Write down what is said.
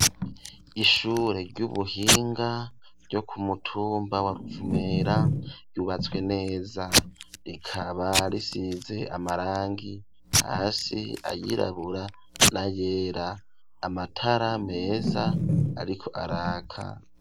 Ishure ry'ubuhinga ryo kumutumba wa Ruvumera yubatswe neza rikaba risize amarangi hasi ayirabura nayera amatara meza ariko araka.